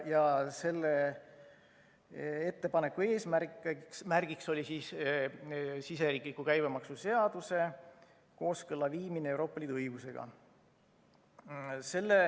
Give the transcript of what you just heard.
Selle ettepaneku eesmärk oli siseriikliku käibemaksuseaduse kooskõlla viimine Euroopa Liidu õigusega.